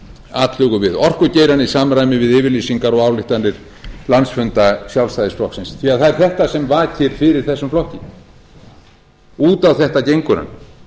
atlögu við orkugeirann í samræmi við yfirlýsingar og ályktanir landsfunda sjálfstæðisflokksins því það er þetta sem vakir fyrir þessum flokki út á þetta gengur hann